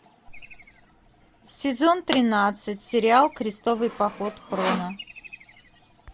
сезон тринадцать сериал крестовый поход хроно